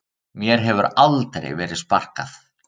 Mér hefur aldrei verið sparkað